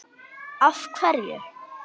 Af hverju?